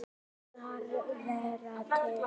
Þess að vera til.